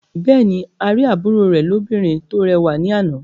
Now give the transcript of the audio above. Bẹ́ẹ̀ ni, a rí àbúrò rẹ̀ lóbìnrin tó rẹwà ní àná.